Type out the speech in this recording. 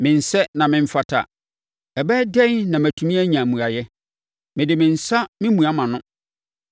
“Mensɛ na memfata, ɛbɛyɛ dɛn na matumi anya mmuaeɛ? Mede me nsa memua mʼano.